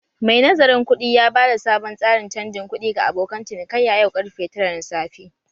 Mai nazarin kuɗi ya bada sabon tsarin canjin kuɗi ga abokan cinikayya yau karfe tara na safe.